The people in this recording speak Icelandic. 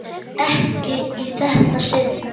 Ekki í þetta sinn.